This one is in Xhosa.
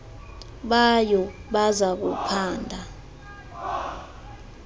bayo baza kuphanda